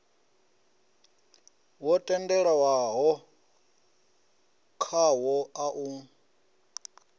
wo tendelanwaho khawo a u